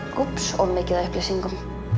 úps of mikið af upplýsingum